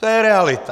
To je realita.